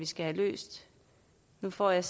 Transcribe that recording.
skal have løst nu får jeg